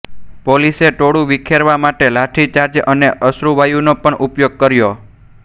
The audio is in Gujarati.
પોલીસે ટોળું વીખેરવા માટે લાઠીચાર્જ અને અશ્રુવાયુનો પણ ઉપયોગ કર્યો